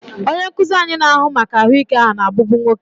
Onye nkuzi anyị na-ahụ maka ahụike na-abụbu nwoke.